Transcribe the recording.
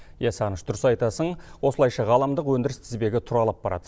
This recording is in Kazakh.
иә сағыныш дұрыс айтасың осылайша ғаламдық өндіріс тізбегі тұралап барады